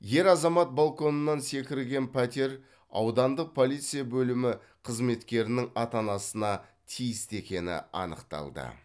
ер азамат балконынан секірген пәтер аудандық полиция бөлімі қызметкерінің ата анасына тиісті екені анықталды